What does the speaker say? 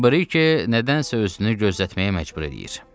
Briki nədənsə özünü gözlətməyə məcbur eləyir.